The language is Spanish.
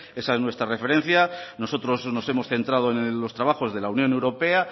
esa es nuestra referencia nosotros nos hemos centrado en los trabajos de la unión europea